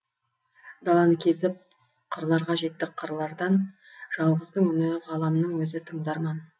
даланы кезіп қырларға жетті қырлардан жалғыздың үні ғаламның өзі тыңдарман